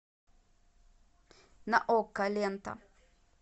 на окко лента